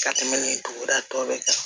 Ka tɛmɛ nin duguda tɔ bɛɛ kan